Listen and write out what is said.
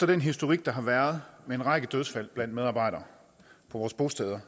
den historik der har været med en række dødsfald blandt medarbejdere på vores bosteder